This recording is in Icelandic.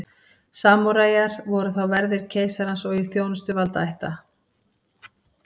Samúræjar voru þá verðir keisarans og í þjónustu valdaætta.